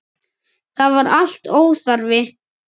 Það var allt óþarfi.